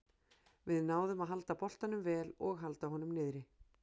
Við náðum að halda boltanum vel og halda honum niðri.